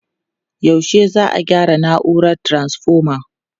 Yaushe za'a gyara na'urar taranfoma?